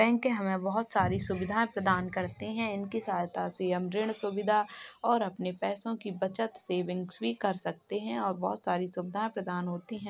Bank हमें बहुत सारी सुविधाएं प्रदान करते हैं। उनकी सहायता से हम ऋण सुविधा और अपने पैसों की बचत सेविंग्स भी कर सकते हैं और बहुत सारी सुविधाएं प्रदान होती हैं।